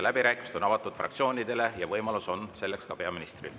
Läbirääkimised on avatud fraktsioonidele ja võimalus on selleks ka peaministril.